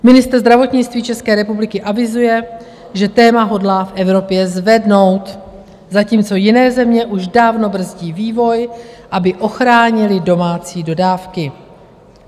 Ministr zdravotnictví České republiky avizuje, že téma hodlá v Evropě zvednout, zatímco jiné země už dávno brzdí vývoj, aby ochránily domácí dodávky.